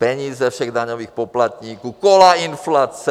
Peníze všech daňových poplatníků, kola inflace...